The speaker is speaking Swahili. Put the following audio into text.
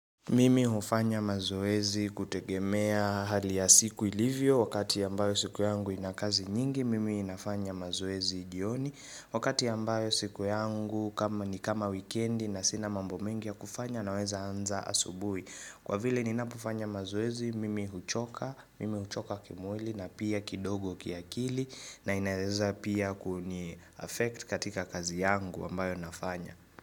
Mimi hufanya mazoezi kutegemea hali ya siku ilivyo wakati ambayo siku yangu ina kazi nyingi, mimi nafanya mazoezi jioni Wakati ambayo siku yangu ni kama wikendi na sina mambo mengi ya kufanya naweza anza asubui. Kwa vile ninapofanya mazoezi mimi huchoka, mimi huchoka kimwili na pia kidogo kiakili na inaeza pia kuni affect katika kazi yangu ambayo nafanya.